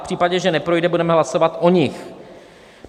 V případě, že neprojde, budeme hlasovat o nich.